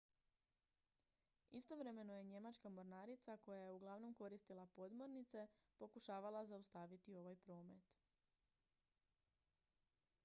istovremeno je njemačka mornarica koja je uglavnom koristila podmornice pokušavala zaustaviti ovaj promet